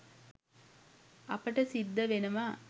අපට සිද්ධ වෙනවා